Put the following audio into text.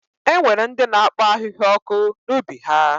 E nwere ndị na-akpọ ahịhịa ọkụ n'ubi ha.